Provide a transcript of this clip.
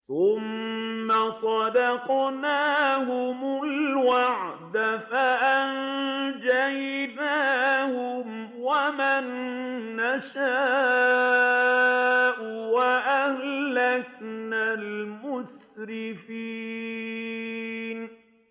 ثُمَّ صَدَقْنَاهُمُ الْوَعْدَ فَأَنجَيْنَاهُمْ وَمَن نَّشَاءُ وَأَهْلَكْنَا الْمُسْرِفِينَ